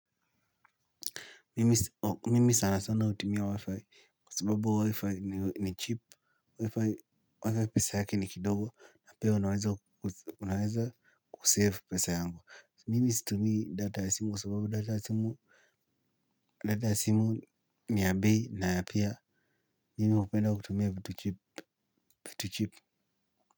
Mimi sana sana utumia wi-fi, kwa sababu wi-fi ni cheap. Wi-fi pesa yake ni kidogo na pia naweza kusave pesa yangu. Mimi situmii data ya simu kwa sababu data ya simu, ni ya bei na pia, mimi hupenda kutumia vitu cheap.